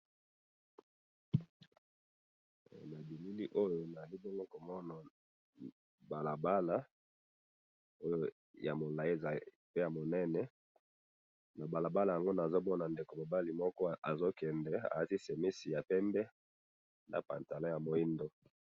Na moni mobali azo tambola na balabala na sac na mukongo alati pembe na moindo na bandako pembeni ya balabala.